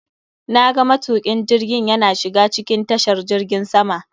Na ga matukin jirgiin yana shiga cikin tashar jirgin sama.